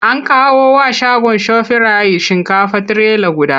An kawo wa shagon Shofirayit shinkafa trailer guda.